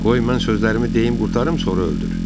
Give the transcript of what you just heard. Qoy mən sözlərimi deyim qurtarım, sonra öldür.